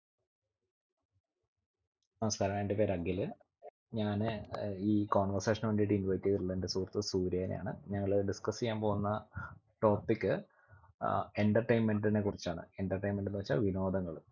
നമസ്ക്കാരം എൻ്റെ പേര് അഖില് ഞാന് ഏർ ഈ conversation ന് വേണ്ടിട്ട് invite ചെയ്തിട്ടുള്ള എൻ്റെ സുഹൃത്ത് സൂര്യേനെ ആണ് ഞങ്ങള്‍ discuss എയ്യാൻ പോകുന്ന topic അഹ് entertainment നെ കുറിച്ചാണ് entertainment എന്ന് വെച്ചാൽ വിനോദങ്ങൾ